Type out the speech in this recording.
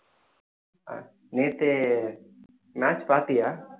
ஆஹ் நேத்து match பார்த்தியா